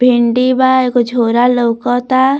भिंडी बा एगो झोरा लउकत बा।